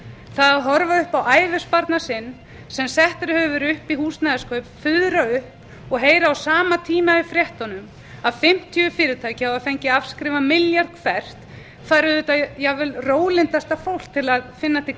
það að horfa upp á ævisparnað sinn sem settur hefur verið upp í húsnæðiskaup fuðra upp og heyra á sama tíma í fréttunum að fimmtíu fyrirtæki hafi fengið afskrifað milljarð hvert fær auðvitað jafnvel rólyndasta fólk til að eina til